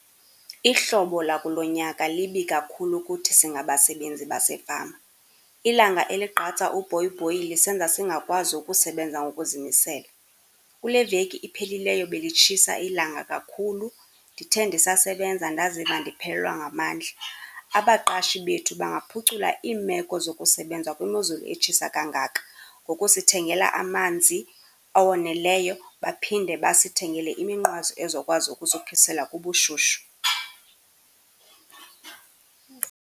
Ihlobo lakulo nyaka libi kakhulu kuthi singabasebenzi basefama. Ilanga eligqatsa ubhoyibhoyi lisenza singakwazi ukusebenza ngokuzimisela. Kule veki iphelileyo belitshisa ilanga kakhulu, ndithe ndisasebenza ndaziva ndiphelelwa ngamandla. Abaqashi bethu bangaphucula iimeko zokusebenza kwimozulu etshisa kangaka ngokusithengela amanzi awoneleyo, baphinde basithengele iminqwazi ezokwazi ukusikhusela kubushushu.